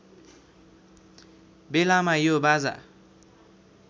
बेलामा यो बाजा